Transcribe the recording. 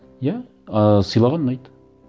иә ыыы сыйлаған ұнайды